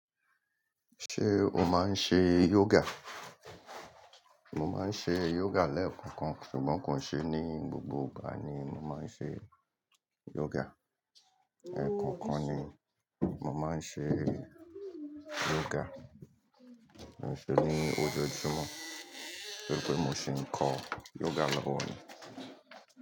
Ṣé o máa ń ṣe yoga? Mo máa ń ṣe yoga lẹ́ẹ̀kọ̀kan, ṣùgbọ́n kò n ṣe ní gbogbo ìgbà ni mo máa ń ṣe yoga. Ẹ̀ẹ̀ko kan ni mo máa ń ṣe yoga, kii se ní ọjọ́ Júmọ̀, tori pé mo si ń kọ́ yoga lọ́wọ́ ni.